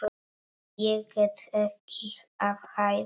Ég er ekki að hæðast.